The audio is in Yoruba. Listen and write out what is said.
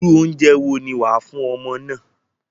Irú oúnjẹ wo ni wàá fún ọmọ náà?